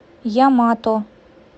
ямато